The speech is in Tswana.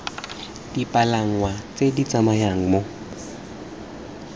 dipalangwa tse di tsamayang mo